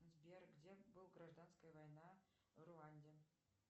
сбер где был гражданская война в руанде